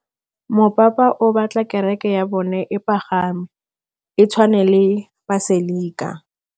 Mopapa o batla kereke ya bone e pagame, e tshwane le paselika.